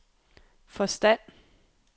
forstand